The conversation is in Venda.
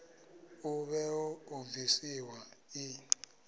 ḽa vhuḓe ḓo bvisiwa ḓi